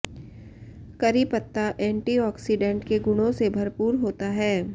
करी पत्ता antioxidant के गुणों से भरपूर होता है